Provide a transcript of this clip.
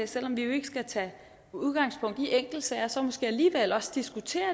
selv om vi jo ikke skal tage udgangspunkt i enkeltsager så måske alligevel også diskutere